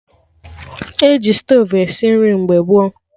E ji stovu esi nri mgbe gboo